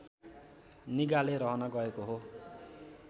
निगाले रहन गएको हो